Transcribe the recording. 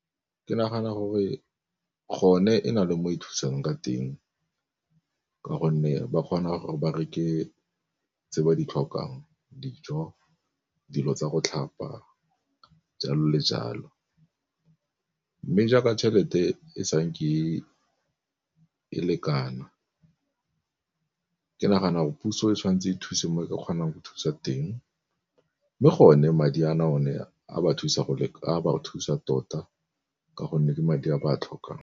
Ke nagana gore gone e na le mo e thusang ka teng ka gonne ba kgona gore ba reke tse ba di tlhokang dijo, dilo tsa go tlhapa, jalo le jalo. Mme jaaka tšhelete e sanke e lekana, ke nagana gore puso e tshwanetse e thuse mo e ka kgonang go thusa teng. Mme gone madi a na o ne a ba thusa tota ka gonne ke madi a ba tlhokang.